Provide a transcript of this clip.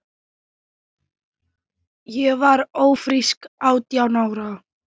Ég varð ófrísk átján ára.